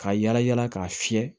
Ka yala yala k'a fiyɛ